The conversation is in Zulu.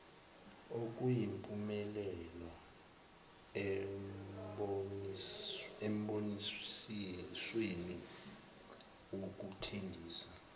okuyimpumelelo embonisweni wokuthengisa